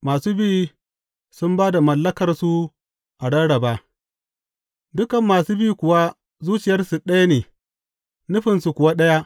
Masu bi sun ba da mallakarsu a rarraba Dukan masu bi kuwa zuciyarsu ɗaya ne, nufinsu kuwa ɗaya.